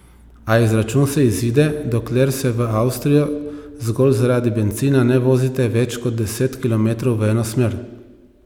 A izračun se izide, dokler se v Avstrijo zgolj zaradi bencina ne vozite več kot deset kilometrov v eno smer.